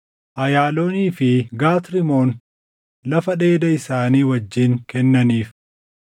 Ayaaloonii fi Gat Rimoon lafa dheeda isaanii wajjin kennaniif.